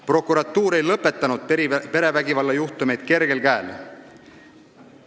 Prokuratuur ei lõpetanud perevägivalla juhtumeid kergel käel.